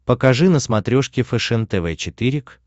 покажи на смотрешке фэшен тв четыре к